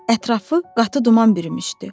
Ətrafı qatı duman bürümüşdü.